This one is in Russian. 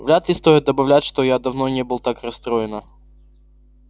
вряд ли стоит добавлять что я давно не был так расстроена